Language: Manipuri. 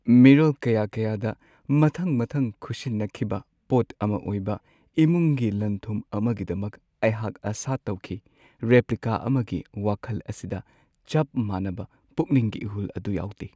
ꯃꯤꯔꯣꯜ ꯀꯌꯥ-ꯀꯌꯥꯗ ꯃꯊꯪ-ꯃꯊꯪ ꯈꯨꯠꯁꯤꯟꯅꯈꯤꯕ ꯄꯣꯠ ꯑꯃ ꯑꯣꯏꯕ, ꯏꯃꯨꯡꯒꯤ ꯂꯟ-ꯊꯨꯝ ꯑꯃꯒꯤꯗꯃꯛ ꯑꯩꯍꯥꯛ ꯑꯁꯥ ꯇꯧꯈꯤ꯫ ꯔꯦꯄ꯭ꯂꯤꯀꯥ ꯑꯃꯒꯤ ꯋꯥꯈꯜ ꯑꯁꯤꯗ ꯆꯞ ꯃꯥꯟꯅꯕ ꯄꯨꯛꯅꯤꯡꯒꯤ ꯏꯍꯨꯜ ꯑꯗꯨ ꯌꯥꯎꯗꯦ꯫